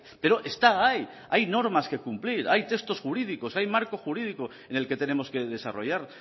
pero está ahí hay normas que cumplir hay textos jurídicos hay marco jurídico en el que tenemos que desarrollar